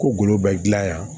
Ko golo bɛ gilan yan